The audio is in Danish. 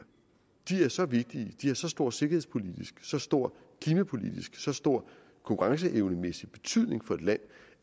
så vigtige har så stor sikkerhedspolitisk så stor klimapolitisk så stor konkurrenceevnemæssig betydning for et land